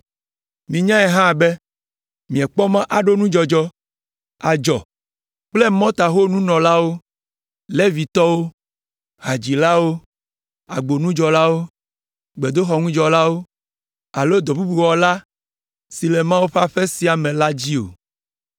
Minyae hã be miekpɔ mɔ aɖo nudzɔdzɔ, adzɔ kple mɔtaho nunɔlawo, Levitɔwo, hadzilawo, agbonudzɔlawo, gbedoxɔŋudzɔlawo alo dɔ bubu aɖe wɔla si le Mawu ƒe aƒe sia me la dzi o.